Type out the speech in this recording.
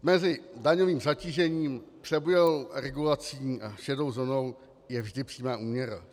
Mezi daňovým zatížením, přebujelou regulací a šedou zónou je vždy přímá úměra.